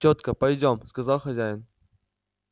тётка пойдём сказал хозяин